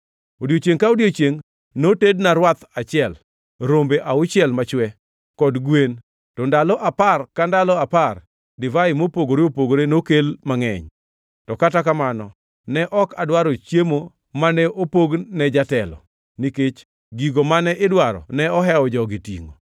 Odiechiengʼ ka odiechiengʼ notedna rwath achiel, rombe auchiel machwe, kod gwen, to ndalo apar ka ndalo apar divai mopogore opogore nokel mangʼeny. To kata kamano, ne ok adwaro chiemo mane opog ne jatelo, nikech gigo mane idwaro ne ohewo jogi tingʼo.